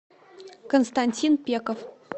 константин пеков